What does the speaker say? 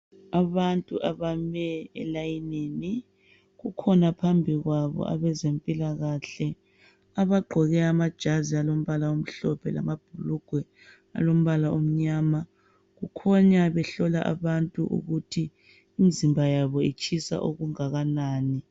Abantu abame elayinini, kukhona phambi kwabo abezempilakahle abagqoke amajazi alombala omhlophe lamabhulugwe alombala omnyama kukhanya behlola abantu ukuthi imizimba yabo itshisa okunganani